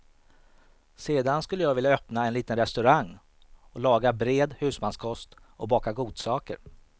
Sedan skulle jag vilja öppna en liten restaurang och laga bred husmankost och baka godsaker.